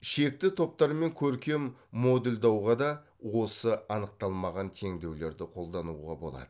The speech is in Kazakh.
шекті топтар мен көркем модульдауға да осы анықталмаған теңдеулерді қолдануға болады